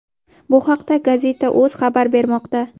Bu haqda Gazeta.uz xabar bermoqda .